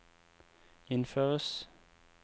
innføres